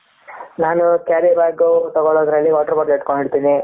ನಾನು carry bag ತೊಗೊಳ್ಳೋದ್ರಲ್ಲಿ water bottle ಇಟ್ಕೊಂಡಿರ್ತಿನಿ.